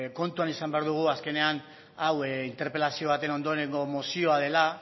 kontuan izan behar dugu azkenean hau interpelazioa baten ondorengo mozioa dela